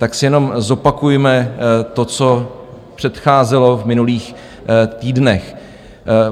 Tak si jenom zopakujme to, co předcházelo v minulých týdnech.